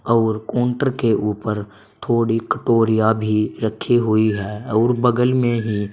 और काउंटर के ऊपर थोड़ी कटोरिया भी रखी हुई है और बगल में ही--